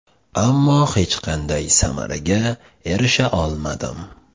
Ammo hech qanday samaraga erisha olmadim.